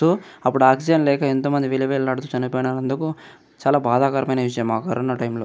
తు అప్పుడు ఆక్సిజన్ లేక ఎంతోమంది విల విలాడుతూ చెనిపో నందుకు చాల బాధాకరమైన విషయం ఆ కరోనా టైమ్ లో --